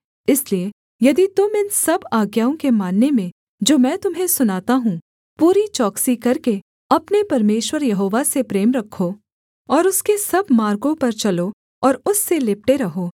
इसलिए यदि तुम इन सब आज्ञाओं के मानने में जो मैं तुम्हें सुनाता हूँ पूरी चौकसी करके अपने परमेश्वर यहोवा से प्रेम रखो और उसके सब मार्गों पर चलो और उससे लिपटे रहो